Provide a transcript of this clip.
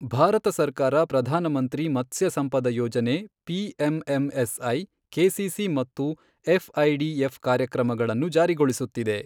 ಭಾರತ ಸರ್ಕಾರ ಪ್ರಧಾನಮಂತ್ರಿ ಮತ್ಸ್ಯ ಸಂಪದ ಯೋಜನೆ ಪಿಎಂಎಂಎಸ್ ಐ, ಕೆಸಿಸಿ ಮತ್ತು ಎಫ್ಐಡಿಎಫ್ ಕಾರ್ಯಕ್ರಮಗಳನ್ನು ಜಾರಿಗೊಳಿಸುತ್ತಿದೆ.